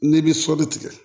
N'i bɛ sɔli tigɛ